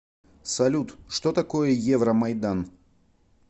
салют что такое евромайдан